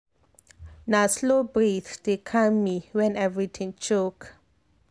na slow breathe dey calm me when everything choke.